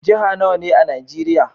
Jihar nawa ne a najeria?